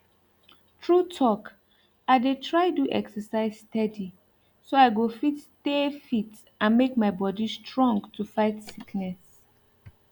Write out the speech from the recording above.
true talk i dey try do exercise steady so i go fit stay fit and make my body strong to fight sickness